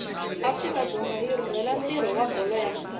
afrika dzonga yirhurhela ntiro wabholo yamisava